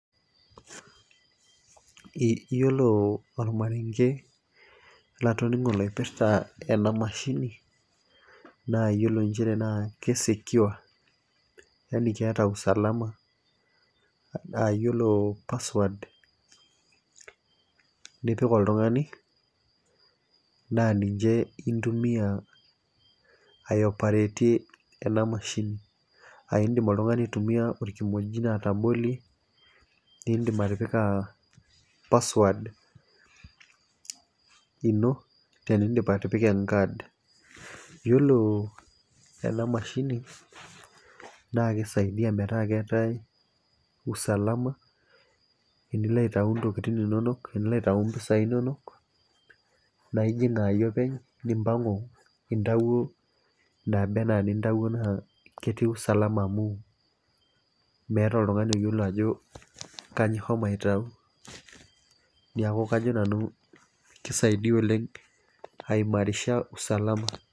Iyiolo ormarenke latoningo laipirta ena mashini, naayiolo nchere naa ki secure Yani keeta usalama yiolo password ,nipik oltungani naa ninche intumia ae operate ena mashini.aa idim oltungani aitumia olkimojino atabolie, nidim atipika password ino tenidip atipika e card iyiolo ena mashini, naa kisaidia metaa keetae usalama tenilo aitayu ntokitin inonok. tenilo aitayu mpisai inonok. naa ijing aayie openy. nimpangu intawuo, inaaba anaa inintawuo naa ketii usalama amu, meeta oltungani oyiolo ajo kainyioo ishomo aitayu. niaku kajo nanu kisaidia oleng ai marisha usalama